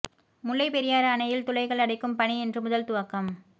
முல்லைப் பெரியாறு அணையில் துளைகள் அடைக்கும் பணி இன்று முதல் துவக்கம்